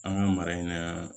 An ka mara in na